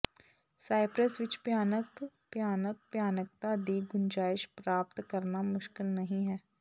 Cyprus ਵਿੱਚ ਭਿਆਨਕ ਭਿਆਨਕ ਭਿਆਨਕਤਾ ਦੀ ਗੁੰਜਾਇਸ਼ ਪ੍ਰਾਪਤ ਕਰਨਾ ਮੁਸ਼ਕਿਲ ਨਹੀਂ ਹੈ